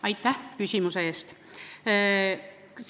Aitäh küsimuse eest!